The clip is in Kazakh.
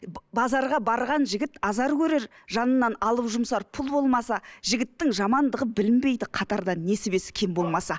базарға барған жігіт азар көрер жанынан алып жұмсар пұл болмаса жігіттің жамандығы білінбейді қатарда несібесі кем болмаса